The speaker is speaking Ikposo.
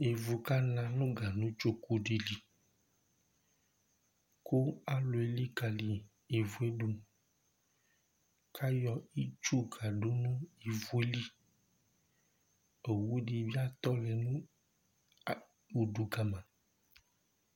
Ivʋ kana nʋ ganʋ tsoku di li kʋ alu elikali ivʋ ye du kʋ ayɔ itsu kadu nʋ ivʋ ye li Owu di bi atɔ nʋ ʋdu kama